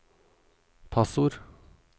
passord